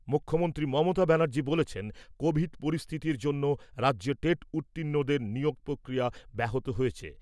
মুখ্যমন্ত্রী মমতা ব্যানার্জী বলেছেন, কোভিড পরিস্থিতির জন্য রাজ্যে টেট উত্তীর্ণদের নিয়োগ প্রক্রিয়া ব্যাহত হয়েছে।